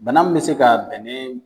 Bana mun be se ka bɛnnen